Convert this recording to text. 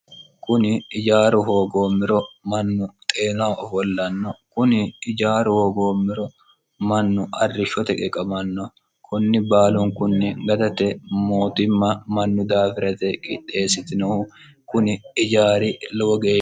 kunni ejjaru hoggomero manu xenaho offolano kunni ejjaru hoggomero manu arishoote qegamano kooni balunkunni dagate moottima manu dafira yite qixessitinohu kuni ijjari lowo gesha.